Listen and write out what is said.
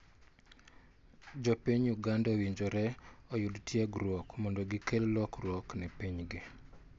Jo piny Uganda owinjore oyud tiegruok mondo gikel lokruok ne piny gi.